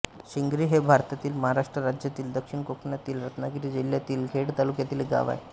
शिंगरी हे भारतातील महाराष्ट्र राज्यातील दक्षिण कोकणातील रत्नागिरी जिल्ह्यातील खेड तालुक्यातील एक गाव आहे